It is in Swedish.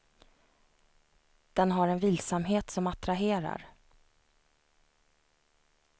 Den har en vilsamhet som attraherar.